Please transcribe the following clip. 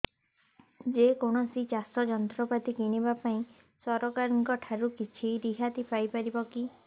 ଯେ କୌଣସି ଚାଷ ଯନ୍ତ୍ରପାତି କିଣିବା ପାଇଁ ସରକାରଙ୍କ ଠାରୁ କିଛି ରିହାତି ପାଇ ପାରିବା କି